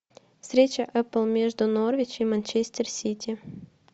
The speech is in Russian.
встреча апл между норвич и манчестер сити